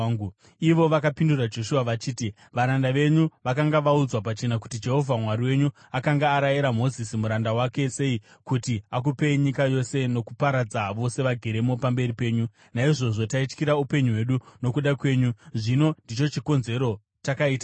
Ivo vakapindura Joshua vachiti, “Varanda venyu vakanga vaudzwa pachena kuti Jehovha Mwari wenyu akanga arayira Mozisi muranda wake sei kuti akupei nyika yose nokuparadza vose vageremo pamberi penyu. Naizvozvo taityira upenyu hwedu nokuda kwenyu, zvino ndicho chikonzero takaita izvi.